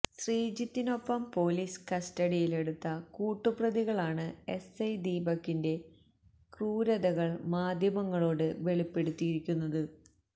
ശ്രീജിത്തിനൊപ്പം police കസ്റ്റഡിയിലെടുത്ത കൂട്ടുപ്രതികളാണ് SI ദീപകിന്റെ ക്രൂരതകള് മാധ്യമങ്ങളോട് വെളിപ്പെടുത്തിയിരിക്കുന്നത്